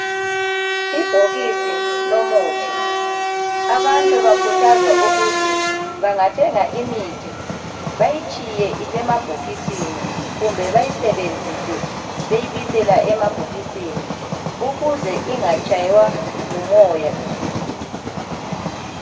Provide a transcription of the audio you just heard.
Ibhokisi lomuthi, abantu bakhuthazwa ukuthi bangathenga imithi bayitshiye isemabhokisini kumbe bayisebenzise beyibisela emabhokisini ukuze ingatshaywa ngumoya.